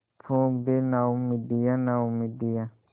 फूँक दे नाउमीदियाँ नाउमीदियाँ